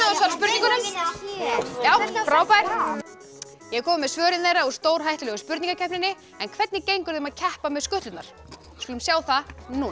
svara spurningunum já frábært ég er komin með svörin þeirra úr stórhættulegu spurningakeppninni en hvernig gengur þeim að keppa með skutlurnar við skulum sjá það núna